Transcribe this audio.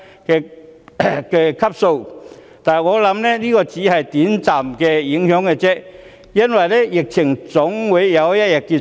我相信，這只是短暫的影響，因為疫情總有一天會結束。